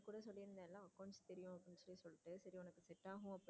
பேசாம.